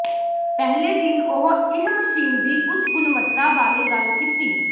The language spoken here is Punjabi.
ਪਹਿਲੇ ਦਿਨ ਉਹ ਇਹ ਮਸ਼ੀਨ ਦੀ ਉੱਚ ਗੁਣਵੱਤਾ ਬਾਰੇ ਗੱਲ ਕੀਤੀ